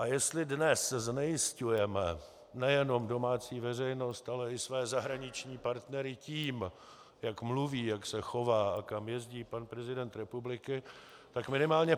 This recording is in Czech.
A jestli dnes znejisťujeme nejenom domácí veřejnost, ale i své zahraniční partnery tím, jak mluví, jak se chová a kam jezdí pan prezident republiky, tak minimálně